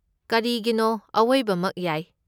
ꯀꯔꯤꯒꯤꯅꯣ, ꯑꯋꯣꯏꯕꯃꯛ ꯌꯥꯏ꯫